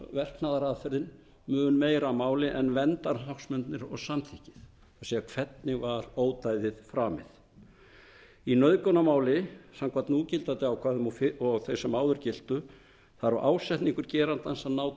verknaðarathöfnin mun meira baki en verndarhagsmunirnir og samþykkið það er hvernig ódæðið var framið í nauðgunarmáli samkvæmt núgildandi ákvæðum og þeirra sem áður giltu þarf ásetningur geranda að ná